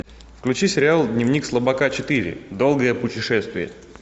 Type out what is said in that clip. включи сериал дневник слабака четыре долгое путешествие